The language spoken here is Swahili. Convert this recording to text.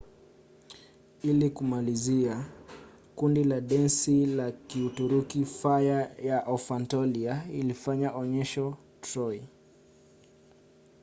ili kumalizia kundi la densi la kituruki fire of anatolia kilifanya onyesho troy